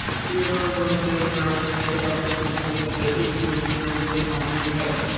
euro zone کے ممالک میں جرمنی کی جانب سے اس ڈیل کی منظوری لازمی ہے